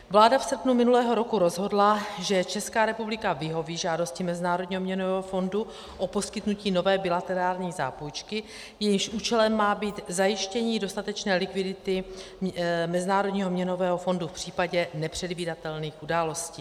Vláda v srpnu minulého roku rozhodla, že Česká republika vyhoví žádosti Mezinárodního měnového fondu o poskytnutí nové bilaterální zápůjčky, jejímž účelem má být zajištění dostatečné likvidity Mezinárodního měnového fondu v případě nepředvídatelných událostí.